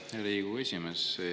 Aitäh, Riigikogu esimees!